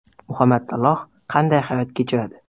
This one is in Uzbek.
Muhammad Saloh qanday hayot kechiradi?.